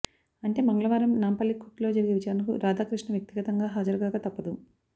అంటే మంగళవారం నాంపల్లి కోర్టులో జరిగే విచారణకు రాధాకృష్ణ వ్యక్తిగతంగా హాజరుకాక తప్పదు